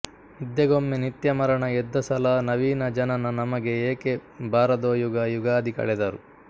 ನಿದ್ದೆಗೊಮ್ಮೆ ನಿತ್ಯ ಮರಣ ಎದ್ದ ಸಲ ನವೀನ ಜನನ ನಮಗೆ ಏಕೆ ಬಾರದೋಯುಗ ಯುಗಾದಿ ಕಳೆದರು